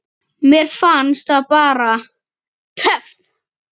Mér fannst það bara. töff.